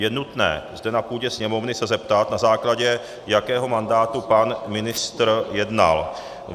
Je nutné zde na půdě Sněmovny se zeptat, na základě jakého mandátu pan ministr jednal.